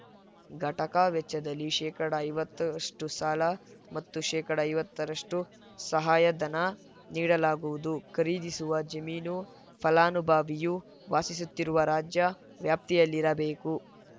ಘಟಕ ವೆಚ್ಚದಲ್ಲಿ ಶೇಕಡಾ ಐವತ್ತಷ್ಟ ಸಾಲ ಮತ್ತು ಶೇಕಡಾ ಐವತ್ತರಷ್ಟುಸಹಾಯಧನ ನೀಡಲಾಗುವುದು ಖರೀದಿಸುವ ಜಮೀನು ಫಲಾನುಭವಿಯು ವಾಸಿಸುತ್ತಿರುವ ರಾಜ್ಯ ವ್ಯಾಪ್ತಿಯಲ್ಲಿರಬೇಕು